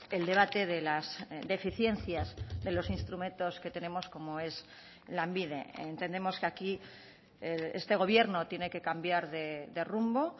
el debate de las deficiencias de los instrumentos que tenemos como es lanbide entendemos que aquí este gobierno tiene que cambiar de rumbo